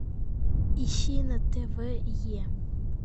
ищи на тв е